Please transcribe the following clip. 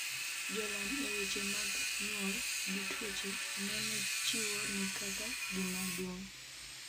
jolony e weche mag nywol gi tuoche neno chiwo ni Kaka gimaduong'